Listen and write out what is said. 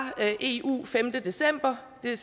eu den femte december det